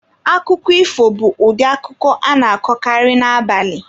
Akụkọ ifo bụ ụdị akụkọ a na-akọkarị n'abalị.